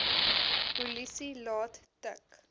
polisie laat tik